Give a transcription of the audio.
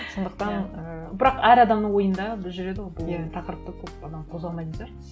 сондықтан і бірақ әр адамның ойында бір жүреді ғой бұл тақырыпты көп анау қозғамаймыз да